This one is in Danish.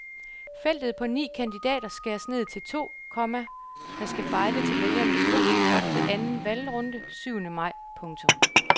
Feltet på ni kandidater skæres ned til to, komma der skal bejle til vælgernes gunst op til anden valgrunde syvende maj. punktum